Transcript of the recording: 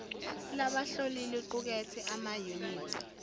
labahloli liqukethe amayunithi